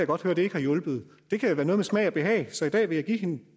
godt høre ikke har hjulpet det kan jo være noget med smag og behag så i dag vil jeg give hende